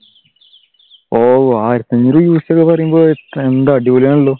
ഓഹ് ആയിരത്തിയഞ്ഞൂർ uc എന്ന് പറയുമ്പോൾ എന്താ അടിപൊളിയാണെല്ലോ